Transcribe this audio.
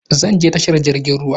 Zan je tashar jirgin ruwa